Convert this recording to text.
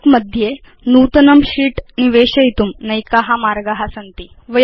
काल्क मध्ये नूतनं शीत् निवेशयितुं नैका मार्गा सन्ति